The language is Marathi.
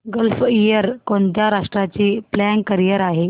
गल्फ एअर कोणत्या राष्ट्राची फ्लॅग कॅरियर आहे